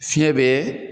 Fiɲɛ be